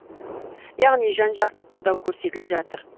яғни жан жақты қолдау көрсетіліп жатыр